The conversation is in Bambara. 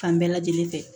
Fan bɛɛ lajɛlen fɛ